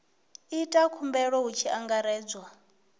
ita khumbelo hu tshi angaredzwa